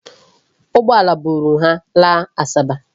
Ụgbọala buru ha laa Asaba.